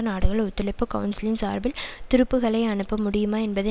நாடுகள் ஒத்துழைப்பு கவுன்சிலின் சார்பில் துருப்புக்களை அனுப்ப முடியுமா என்பதை